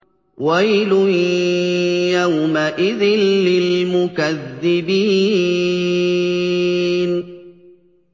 وَيْلٌ يَوْمَئِذٍ لِّلْمُكَذِّبِينَ